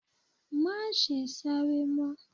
Má ṣe sáré mọ́.